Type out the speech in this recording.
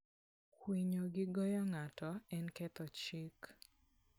Kwinyo gi goyo ng'ato en ketho chik.